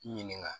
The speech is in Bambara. Ɲininka